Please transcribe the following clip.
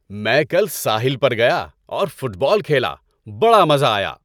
میں کل ساحل پر گیا اور فٹ بال کھیلا۔ بڑا مزہ آیا۔